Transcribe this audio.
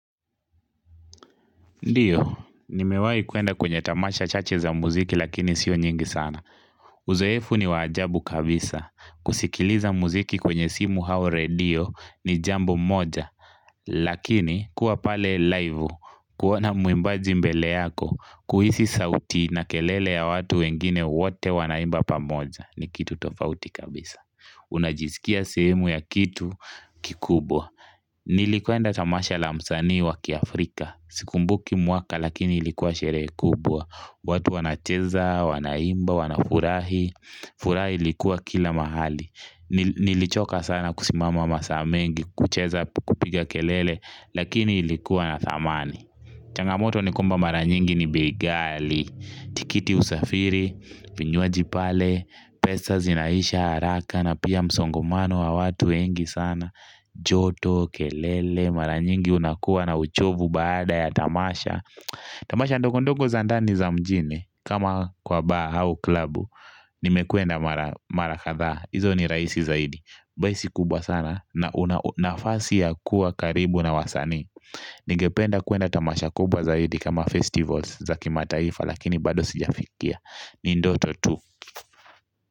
Ndiyo, nimewai kwenda kwenye tamasha chache za muziki lakini sio nyingi sana. Uzoefu ni wa ajabu kabisa. Kusikiliza muziki kwenye simu au radio ni jambo moja. Lakini, kuwa pale live, kuona mwimbaji mbele yako, kuhisi sauti na kelele ya watu wengine wote wanaimba pamoja. Ni kitu tofauti kabisa. Unajisikia sehemu ya kitu kikubwa. Nilikwenda tamasha la msanii wa kiafrika. Sikumbuki mwaka lakini ilikuwa sherehe kubwa. Watu wanacheza, wanaimba, wanafurahi furaha ilikuwa kila mahali. Nilichoka sana kusimama masaa mengi, kucheza kupiga kelele, lakini ilikuwa na thamani changamoto ni kwamba mara nyingi ni bei ghali. Tikiti ya usafiri, vinywaji pale. Pesa zinaisha haraka na pia msongamano wa watu wengi sana. Joto, kelele, mara nyingi unakuwa na uchovu baada ya tamasha. Tamasha ndogondogo za ndani za mjini kama kwa bar au klabu. Nimekwenda mara kadhaa hizo ni rahisi zaidi. Bar si kubwa sana na una nafasi ya kuwa karibu na wasanii. Ningependa kwenda tamasha kubwa zaidi kama festivals za kimataifa lakini bado sijafikia ni ndoto tu.